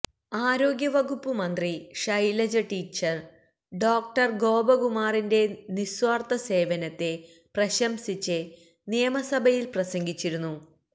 ആരോഗ്യവകുപ്പ് മന്ത്രി Shailaja teacher doctor ഗോപകുമാറിന്റെ നിസ്വാര്ഥ സേവനത്തെ പ്രശംസിച്ച് നിയമസഭയില് പ്രസംഗിച്ചിരുന്നു